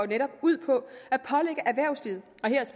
netop ud på